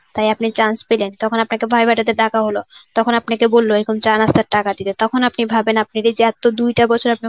তাই আপনি chance পেলেন. তখন আপনাকে viva তে ডাকা হল. তখন আপনাকে বলল এরকম চা নাস্তার টাকা দিতে. তখন আপনি ভাবেন আপনি তো দুইটা বছর আপনি